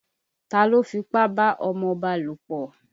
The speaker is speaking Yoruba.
Ta ló fipá bá ọmọba lòpọ̀?